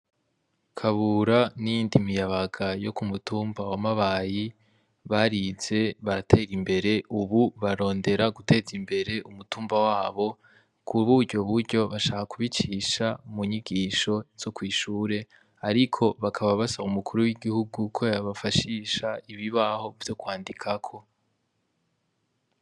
Kabura n'iyindi miyabaga yo k'umutumba wa mabayi barize baratera imbere ubu barondera guteza imbere umutumba wabo k'urugo buryo bashaka kubicisha munyigisho zo kw'ishure ariko bakaba basaba umukuru w'igihugu ko yobafashisha ibibaho vyo kwandikako.